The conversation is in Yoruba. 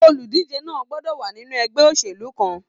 Oludije náà gbọdọ wa nínú ẹgbẹ òṣèlú kan.